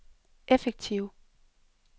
effektive